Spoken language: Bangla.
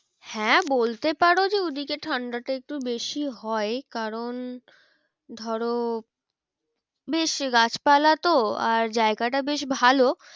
হ্যাঁ বলতে পারো যে ওই দিকে ঠান্ডাটা একটু বেশি হয় কারণ ধরো বেশ গাছপালা তো আর জায়গাটা বেশ ভালো